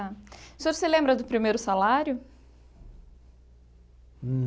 O senhor se lembra do primeiro salário?